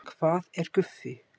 Hvað er Guffi?